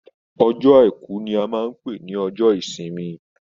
Ọjọ́ àìkú ní a máa n pé ní ọjọ́ ìsinmi.